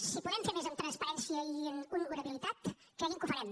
si podem fer més en transparència i en honorabilitat cregui’m que ho farem